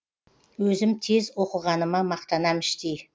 өзім тез оқығаныма мақтанам іштей